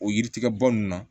O yiri tigɛ bɔ nun na